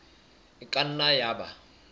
e ka nna ya ba